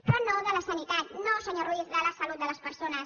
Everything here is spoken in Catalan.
però no de la sanitat no senyor ruiz de la salut de les persones